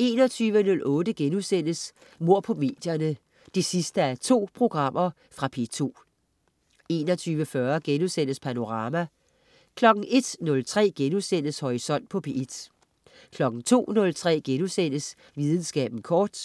21.08 Mord på medierne 2:2.* Fra P2 21.40 Panorama* 01.03 Horisont på P1* 02.03 Videnskaben kort*